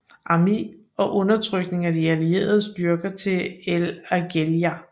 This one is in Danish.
Armé og fremrykning af de allierede styrker til El Agheila